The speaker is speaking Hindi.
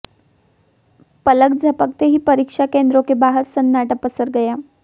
पलक झपकते ही परीक्षा केंद्रों के बाहर सन्नाटा पसर गया